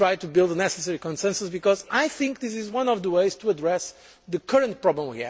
Let us try to build the necessary consensus, because I think that this is one of the ways to address our current problem.